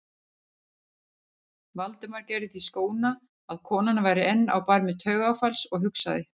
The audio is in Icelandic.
Valdimar gerði því skóna að konan væri enn á barmi taugaáfalls og hugsaði